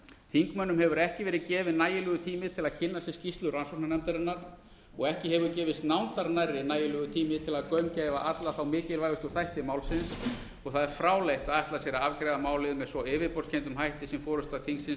þingmönnum hefur ekki verið gefinn nægilegur tími til að kynna sér skýrslu rannsóknarnefndarinnar og ekki hefur gefist nándar nærri nægilegur tími til að gaumgæfa alla mikilvægu þætti málsins og það er fráleitt að ætla sér að afgreiða málið með svo yfirborðskenndum hætti sem forusta þingsins ætlar